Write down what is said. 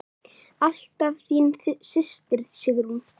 Alltaf þín systir, Sigrún.